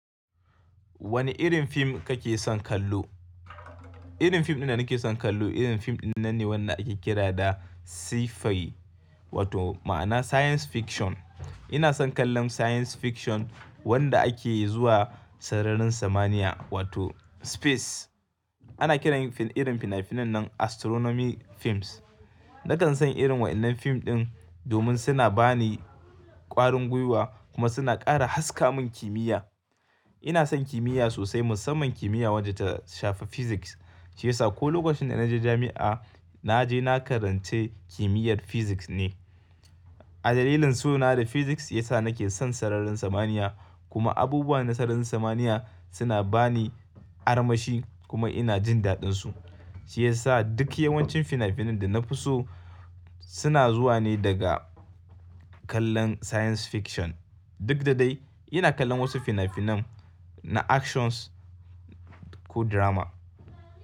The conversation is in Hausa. Wane irin fim kake son kallo? Irin fim ɗin danake son kallo irin fim ɗin nan ne wanda ake kira da Sci-fi wato ma'ana Science Fiction. Ina son kallon Science Fiction wanda ake zuwa sararin samaniya wato Space. Ana kiran irin fina-finan nan Astronomy films. Nakan san irin waɗannan fim ɗin domin suna ba ni ƙwarin gwiwa kuma suna ƙara haska min kimiyya. Ina son kimiyya sosai musamman kimiyya wadda ta shafi Physics shiyasa ko lokacin da na je jami'a na je na karance kimiyyar Physics ne. Adalilin so na da Physics ya sa nake son sararin samaniya kuma abubuwa na sararin samaniya suna ba ni armashi kuma ina jin daɗinsu. Shiyasa duk yawancin fina-finan da na fi so suna zuwa ne daga kallon Science Fiction. Duk da dai ina kallon wasu fina-finan na Actions ko Drama.